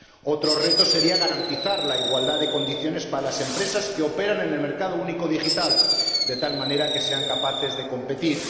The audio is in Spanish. Otro reto sería garantizar la igualdad de condiciones para las empresas que operan en el mercado único digital, de tal manera que sean capaces de competir.